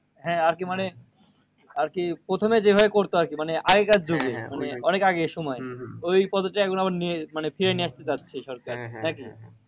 হ্যাঁ আরকি মানে আরকি প্রথমে যেভাবে করতো আরকি মানে আগেকার যুগে মানে অনেক আগেকার সময় ওই পদ্ধতি এখন আবার নিয়ে মানে ফিরিয়ে নিয়ে আসতে চাচ্ছে সরকার। নাকি?